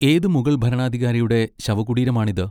ഏത് മുഗൾ ഭരണാധികാരിയുടെ ശവകുടീരമാണ് ഇത്?